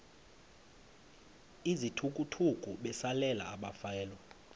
izithukuthuku besalela abafelwa